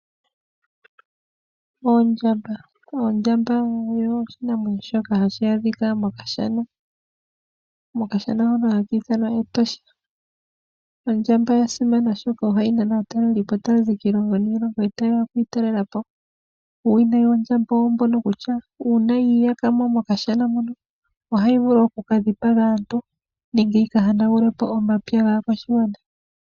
Oondjamba. Oondjamba oyo oshinamwenyo shoka hashi adhika moshana haki ithanwa Etosha. Ondjamba oya simana oshoka ohai nana aatalelipo tazi kiilonga niilongo taye ya oku talelapo. Uuwinayi wondjamba owombo kutya una yi iya kamo mokashana mono ohai vulu oku kadhi paga aantu nenge yi yanagule omapya gaa kwashigwana